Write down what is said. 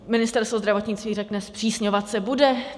Ministerstvo zdravotnictví řekne, zpřísňovat se bude.